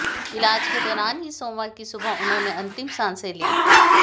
इलाज के दौरान ही सोमवार की सुबह उन्होंने अंतिम सांसें ली